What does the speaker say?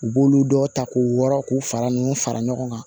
U b'olu dɔ ta k'u wɔrɔ k'u fara nunnu fara ɲɔgɔn kan